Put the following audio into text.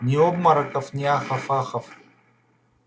ни обмороков ни ахов-ахов